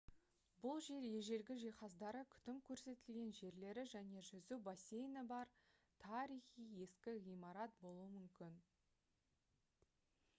бұл жер ежелгі жиһаздары күтім көрсетілген жерлері және жүзу бассейні бар тарихи ескі ғимарат болуы мүмкін